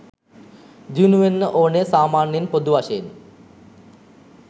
දියුණු වෙන්න ඕනෙ සාමාන්‍යයෙන් පොදු වශයෙන්.